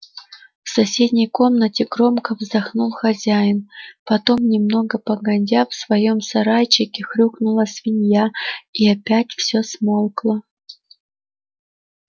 в соседней комнате громко вздохнул хозяин потом немного погодя в своём сарайчике хрюкнула свинья и опять всё смолкло